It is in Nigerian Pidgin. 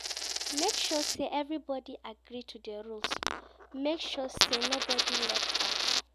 Make sure say everybody agree to do rules make sure say nobody de left out